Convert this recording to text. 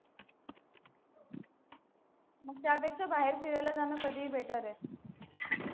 मग त्यापेक्षा बाहेर फिरायला जाणं कधी better आहे.